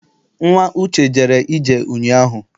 Nnwa Uche jere ije ụnyaahụ.